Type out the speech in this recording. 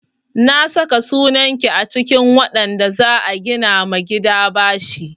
Na saka sunan ki a cikin waɗanda za a gina ma gida bashi.